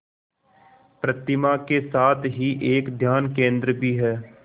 प्रतिमा के साथ ही एक ध्यान केंद्र भी है